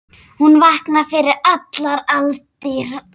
Hún vaknaði fyrir allar aldir.